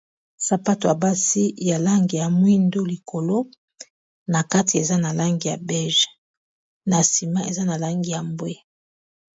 sapato ya basi ya langi ya mwindo likolo na kati eza na langi ya bwe na sima eza na langi ya bwe.